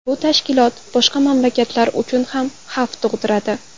Bu tashkilot boshqa mamlakatlar uchun ham xavf tug‘diradi.